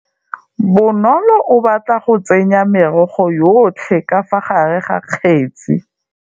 Bonôlô o batla go tsenya merogo yotlhê ka fa gare ga kgêtsi.